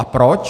A proč?